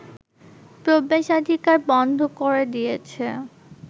প্রবেশাধিকার বন্ধ করে দিয়েছে